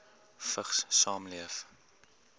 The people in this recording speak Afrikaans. vigs saamleef